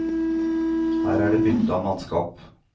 Her er det bytte av mannskap.